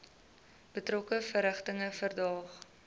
betrokke verrigtinge verdaag